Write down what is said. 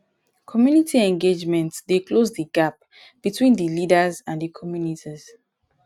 community engagement dey close di gap between di leaders and di community